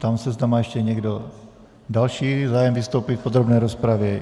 Ptám se, zda má ještě někdo další zájem vystoupit v podrobné rozpravě.